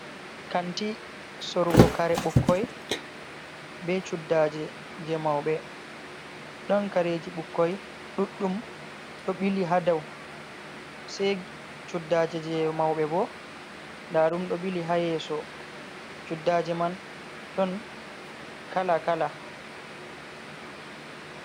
Kanti sorugo kare bukkoi, be cuddaje jei mauɓe. Ɗon kareji bukkoi ɗuɗɗum ɗo ɓili ha dou. Se cuddaje jei mauɓe bo, nda ɗum ɗo ɓili ha yeso. Cuddaje man ɗon kala-kala.